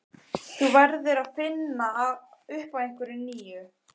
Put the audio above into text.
Þú verður að finna upp á einhverju nýju.